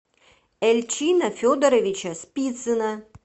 эльчина федоровича спицына